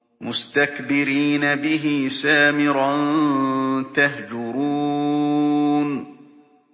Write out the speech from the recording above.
مُسْتَكْبِرِينَ بِهِ سَامِرًا تَهْجُرُونَ